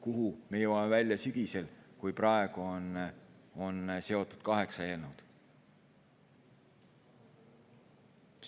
Kuhu me jõuame välja sügisel, kui praegu on usaldusega seotud kaheksa eelnõu?